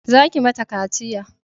Za ki ma ta kaciya!